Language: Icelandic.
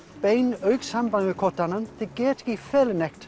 beinu augnsambandi við hver annan þeir geta ekki falið neitt